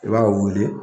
I b'a wuli